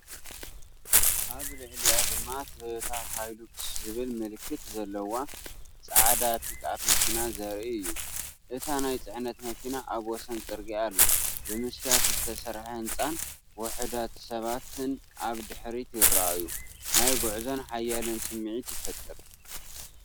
ኣብ ልዕሊኣ ድማ ቶዮታ ሃይሉክስ ዝብል ምልክት ዘለዎ ጻዕዳ ፒክኣፕ መኪና ዘርኢ እዩ። እታ ናይ ጽዕነት መኪና ኣብ ወሰን ጽርግያ ኣላ። ብመስትያት ዝተሰርሐ ህንጻን ውሑዳት ሰባትን ኣብ ድሕሪት ይረአዩ። ናይ ጉዕዞን ሓይልን ስምዒት ይፈጥር።